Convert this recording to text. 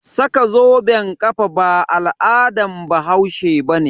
Saka zoben kafa ba al'adan bahaushe bane.